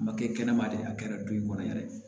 A ma kɛ kɛnɛma de a kɛra du in kɔnɔ yɛrɛ